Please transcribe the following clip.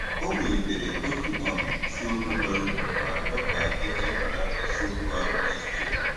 O welitere otu um isiokwu bara uru ma rịọ ka e chebara isiokwu ahụ echiche.